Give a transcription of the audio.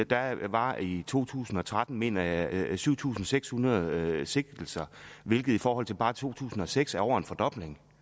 der var i to tusind og tretten mener jeg syv tusind seks hundrede sigtelser hvilket i forhold til bare to tusind og seks er over en fordobling